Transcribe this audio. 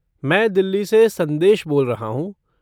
मैं दिल्ली से संदेश बोल रहा हूँ।